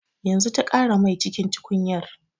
Yanzu ta ƙara mai cikin tukunyar